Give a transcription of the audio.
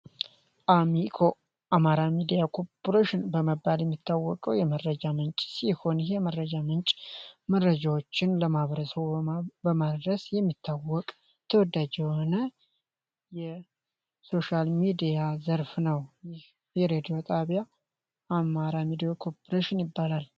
አሚኮ አማራ ሚዲያ ኮርፖሬሽን በመባል የሚታወቀው የመረጃ ምንጭ ሲሆንህ መረጃ ምንጭ መረጃዎችን ለማብረሰው በማድረስ የሚታወቅ ተወዳጅ ሆነ የሶሽል ሚዲያ ዘርፍ ነው ይህሬድዮ ጣቢያ አማራ ሚዲዮ ኮርፖሬሽን ይባላል፡፡